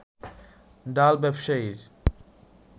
ডাল ব্যবসায়ীর